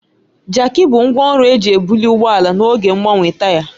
Jaaki bụ ngwá ọrụ eji ebuli ụgbọ ala n'oge mgbanwe taya.